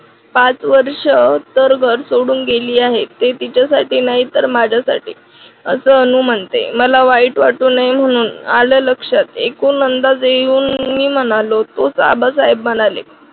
पाच वर्ष तर घर सोडून गेली आहे ते तिच्यासाठी नाही तर माझ्यासाठी अस अनु म्हणते मला वाईट वाटू नये म्हणून आल लक्षात एकूण अंदाज घेऊन मी म्हणालो तुझा आबासाहेब म्हणाले